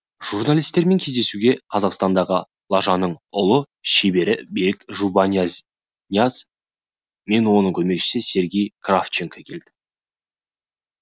журналистермен кездесуге қазақстандағы лажаның ұлы шебері берік жұбанияз мен оның көмекшісі сергей кравченко келді